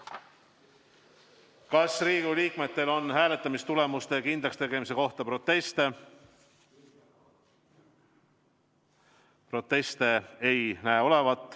Kas Riigikogu liikmetel on hääletamistulemuste kindlakstegemise kohta proteste?